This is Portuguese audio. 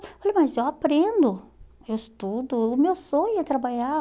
Eu falei, mas eu aprendo, eu estudo, o meu sonho é trabalhar.